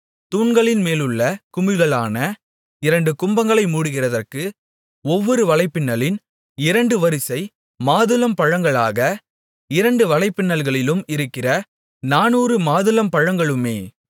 தூண்களின்மேலுள்ள குமிழ்களான இரண்டு கும்பங்களை மூடுகிறதற்கு ஒவ்வொரு வலைப்பின்னலின் இரண்டு வரிசை மாதுளம்பழங்களாக இரண்டு வலைப்பின்னல்களிலும் இருக்கிற நானூறு மாதுளம்பழங்களுமே